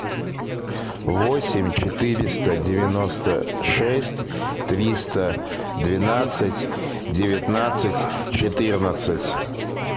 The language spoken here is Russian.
восемь четыреста девяносто шесть триста двенадцать девятнадцать четырнадцать